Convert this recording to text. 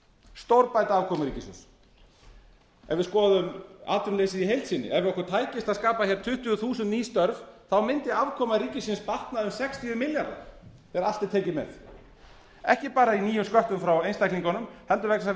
stórbæta afkomu ríkissjóðs ef við skoðum atvinnuleysið í heild sinni ef okkur tækist að skapa hér tuttugu þúsund ný störf þá mundi afkoma ríkisins batna um sextíu milljarða ef allt er tekið með ekki bara í nýjum sköttum frá einstaklingunum heldur vegna þess að